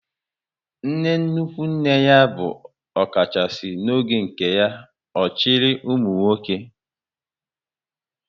Nne nnukwu nne ya bụ ọkachasị n'oge nke ya, ọ chịrị ụmụnwoke